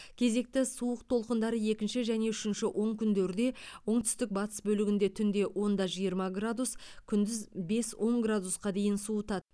кезекті суық толқындары екінші және үшінші онкүндерде оңтүстік батыс бөлігінде түнде он да жиырма градус күндіз бес он градусқа дейін суытады